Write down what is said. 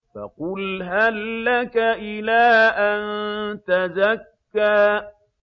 فَقُلْ هَل لَّكَ إِلَىٰ أَن تَزَكَّىٰ